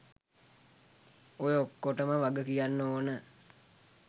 ඔය ඔක්කොටම වග කියන්න ඕන